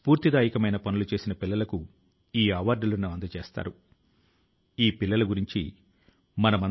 ఇది వ్యవస్థ పైన ప్రజల కు ఉన్నటువంటి నమ్మకానికి ఒక నిదర్శనంగా ఉంటుంది